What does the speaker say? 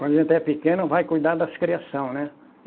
Quando a gente é pequeno, vai cuidar das criação, né?